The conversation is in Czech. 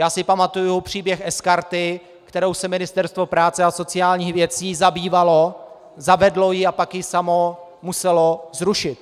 Já si pamatuji příběh sKarty, kterou si Ministerstvo práce a sociálních věcí zabývalo, zavedlo ji a pak ji samo muselo zrušit.